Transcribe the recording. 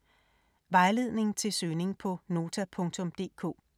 Vejledning til søgning på Nota.dk: